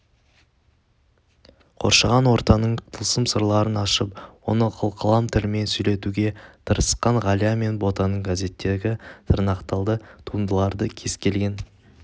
қоршаған ортаның тылсым сырларын ашып оны қылқалам тілімен сөйлетуге тырысқан ғалия мен ботаның газеттегі тырнақалды туындыларды кез келген